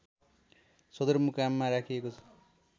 सदरमुकाममा राखिएको छ